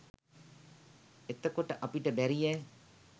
එතකොට අපිට බැරියෑ